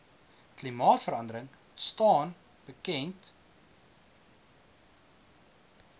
klimaatverandering staan bekend